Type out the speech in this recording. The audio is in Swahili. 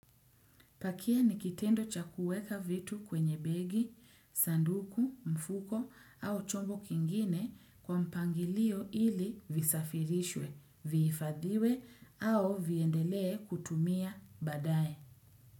Pakia nikitendo cha kueka vitu kwenye begi, sanduku, mfuko au chombo kingine kwa mpangilio ili visafirishwe, vihifadhiwe au viendelee kutumia badaye.